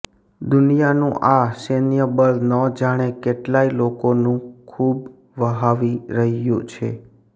દુનિયાનું આ સૈન્યબળ ન જાણે કેટલાય લોકોનું ખૂબ વહાવી રહ્યું છે